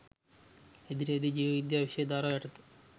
ඉදිරියේදී ජීව විද්‍යාව විෂය ධාරාව යටතේ